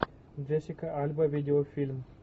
джессика альба видеофильм